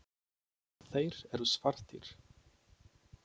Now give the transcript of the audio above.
Þeir eru svartir.